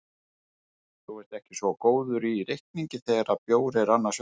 Þú ert ekki svo góður í reikningi þegar bjór er annars vegar.